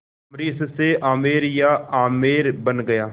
अम्बरीश से आमेर या आम्बेर बन गया